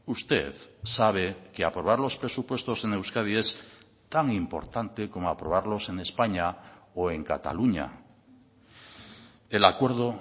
usted sabe que aprobar los presupuestos en euskadi es tan importante como aprobarlos en españa o en cataluña el acuerdo